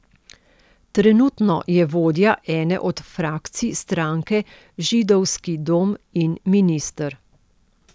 Trenutno je vodja ene od frakcij stranke Židovski dom in minister.